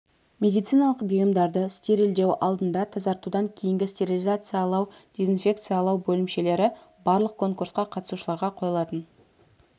медициналық бұйымдарды стерильдеу алдында тазартудан кейін стерилизациялау дезинфекциялау бөлімшелері барлық конкурсқа қатысушыларға қойылатын